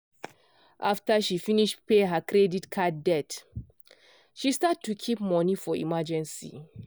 after she finish pay her credit card debt she start to keep money for emergency.